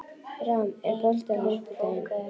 Ram, er bolti á fimmtudaginn?